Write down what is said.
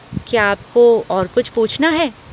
क्या आपको और कुछ पूछना है?